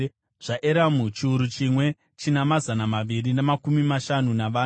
zvaEramu, chiuru chimwe, china mazana maviri namakumi mashanu navana;